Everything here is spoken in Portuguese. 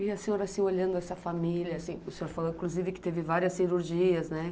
E a senhora, olhando essa família, o senhor falou, inclusive, que teve várias cirurgias, né?